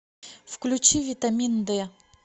включи витамин дэ